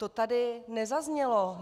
To tady nezaznělo.